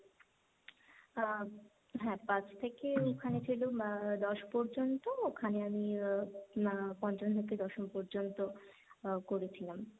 আহ, হ্যাঁ পাঁচ থেকে ওখানে ছিল আহ দশ পর্যন্ত ওখানে আমি আহ পঞ্চম থেকে দশম পর্যন্ত করেছিলাম।